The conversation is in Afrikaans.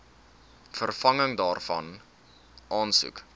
vervanging daarvan aansoek